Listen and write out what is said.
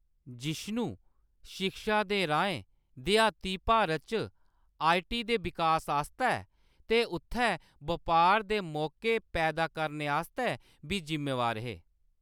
जिष्णु शिक्षा दे राहें देहाती भारत च आई.टी. दे विकास आस्तै ते उत्थै बपार दे मौके पैदा करने आस्तै बी जिम्मेवार हे।